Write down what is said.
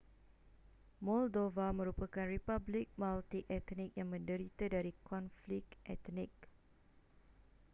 moldova merupakan republik multietnik yang menderita dari konflik etnik